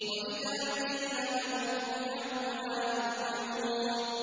وَإِذَا قِيلَ لَهُمُ ارْكَعُوا لَا يَرْكَعُونَ